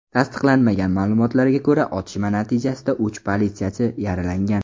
Tasdiqlanmagan ma’lumotlarga ko‘ra, otishma natijasida uch politsiyachi yaralangan.